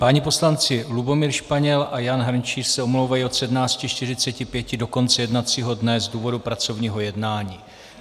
Páni poslanci Lubomír Španěl a Jan Hrnčíř se omlouvají od 17.45 do konce jednacího dne z důvodu pracovního jednání.